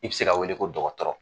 I be se ka wele ko dɔgɔtɔrɔ